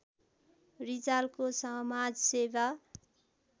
रिजालको समाजसेवा